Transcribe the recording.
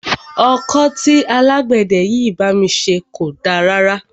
Ọkọ́ tí alágbẹ̀dẹ yìí bá mi ṣe kò da rárá.